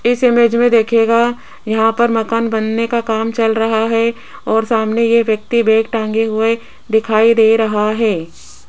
इस इमेज मे देखियेगा यहां पर मकान बनने का काम चल रहा है और सामने ये व्यक्ति बैग टंगे हुए दिखाई दे रहा है।